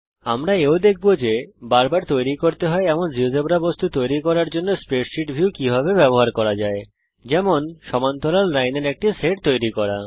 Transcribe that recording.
আমরা এও দেখব যে বারবার তৈরী করতে হয় এমন জীয়োজেব্রা বস্তু তৈরি করার জন্যে স্প্রেডশীট ভিউ কিভাবে ব্যবহার করা যায় যেমন সমান্তরাল লাইনের একটি সেট তৈরী করা